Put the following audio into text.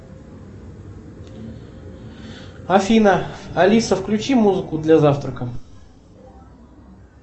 афина алиса включи музыку для завтрака